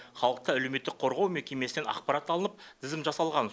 халықты әлеуметтік қорғау мекемесінен ақпарат алынып тізім жасалған